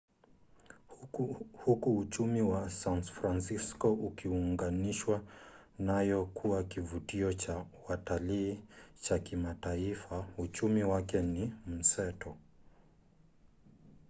huku uchumi wa san francisco ukiunganishwa nayo kuwa kivutio cha watalii cha kimataifa uchumi wake ni mseto